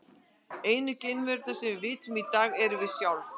Einu geimverurnar sem við vitum um í dag erum við sjálf.